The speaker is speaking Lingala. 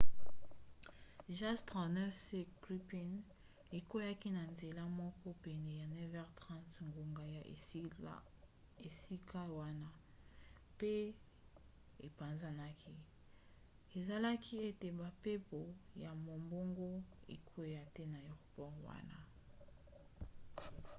jas 39c gripen ekweaki na nzela moko pene ya 9h30 ngonga ya esika wana 02h30 utc pe epanzanaki esalaki ete bampepo ya mombongo ekwea te na aéroport wana